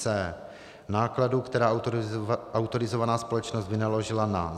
c) nákladu, která autorizovaná společnost vynaložila na